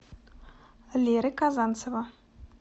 леры казанцева